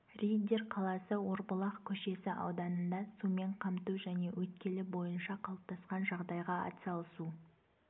риддер қаласы орбұлақ көшесі ауданында сумен қамту және өткелі бойынша қалыптасқан жағдайға атсалысу